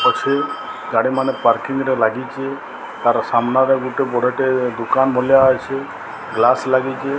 ଅଛି ଗାଡି ମାନେ ପାର୍କିଂ ରେ ଲାଗିଚି ତାର ସାମ୍ନାରେ ଗୋଟେ ବଡଟେ ଦୁକାନ ଭଲିଆ ଅଛି ଗ୍ଲାସ ଲାଗିଚି ।